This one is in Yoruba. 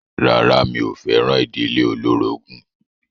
Rárá mi ò fẹ́ràn ìdílé olórogún.